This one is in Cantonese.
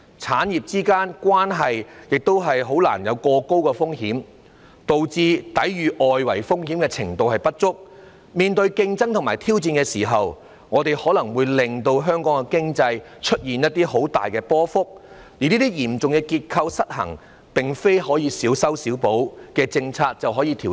產業之間的關聯度過高，導致抵禦外圍風險的能力不足，在面對競爭和挑戰時，可能會令經濟表現大幅波動，而這些嚴重的結構失衡，並非小修小補式的政策便可以調整。